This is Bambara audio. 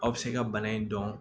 Aw bɛ se ka bana in dɔn